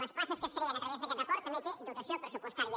les places que es creen a través d’aquest acord també tenen dotació pressupostària